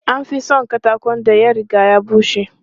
An fi son katakon da ya riga ya bushe.